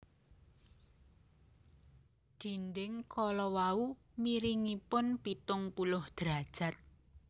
Dinding kala wau miringipun pitung puluh derajat